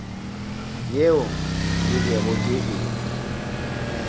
yeo ke bego ke e